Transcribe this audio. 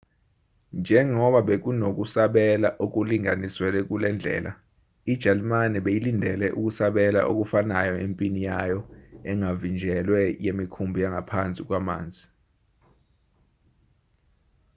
njengoba bekunokusabela okulinganiselwe kulendlela ijalimane beyilindele ukusabela okufanayo empini yayo engavinjelwe yemikhumbi yangaphansi kwamanzi